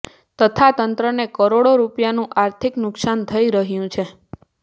તથા તંત્રને કરોડો રૂપિયાનું આર્થિક નુકસાન થઈ રહ્યું છે